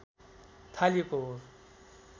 थालिएको हो